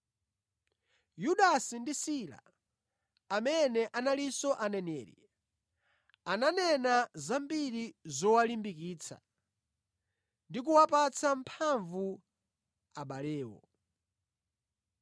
Yudasi ndi Sila amene analinso aneneri, ananena zambiri zowalimbikitsa ndi kuwapatsa mphamvu abalewo.